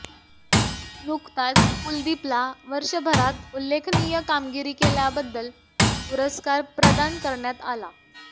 नुकताच कुलदीपला वर्षभरात उल्लेखनीय कामगिरी केल्याबद्दल पुरस्कार प्रदान करण्यात आला